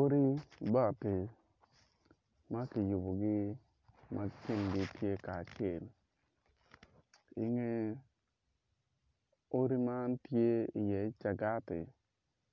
Odi bati ma kiyubogi ma kingi tye kacel i nge odi man tye iye cagati